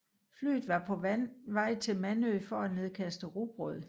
Flyet var på vej til Manø for at nedkaste rugbrød